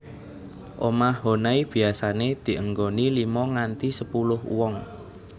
Omah Honai biasané dienggoni limo nganti sepuluh wong